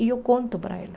E eu conto para ela.